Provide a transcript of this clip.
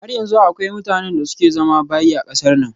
Har yanzu akwai mutanen da suke zama bayi a kasar nan